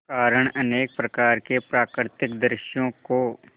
कारण अनेक प्रकार के प्राकृतिक दृश्यों को